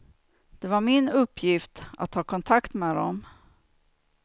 Det var min uppgift att ta kontakt med dem.